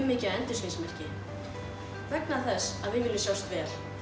mikið af endurskinsmerkjum vegna þess að við viljum sjást vel